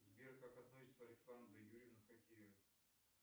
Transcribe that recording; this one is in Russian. сбер как относится александра юрьевна к хоккею